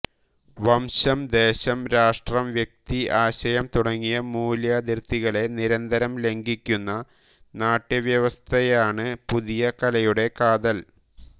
വംശം ദേശം രാഷ്ട്രം വ്യക്തി ആശയം തുടങ്ങിയ മൂല്യാതിർത്തികളെ നിരന്തരം ലംഘിക്കുന്ന നാട്യവ്യവസ്ഥയാണ് പുതിയ കലയുടെ കാതൽ